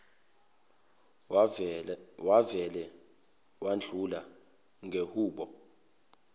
wavele wadlula ngehubo